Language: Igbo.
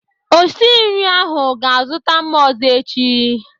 Osi nri ahụ ga-azụta mma ọzọ echi.